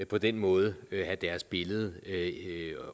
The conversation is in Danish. på den måde skal have deres billede